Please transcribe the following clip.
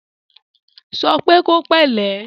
Sọ pé kó pẹ̀lẹ́!